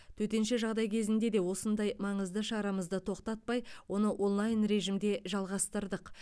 төтенше жағдай кезінде де осынау маңызды шарамызды тоқтатпай оны онлайн режимде жалғастырдық